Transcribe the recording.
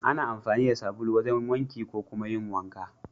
Ana amfani da sabulu wajen wanki ko kuma yin wanka.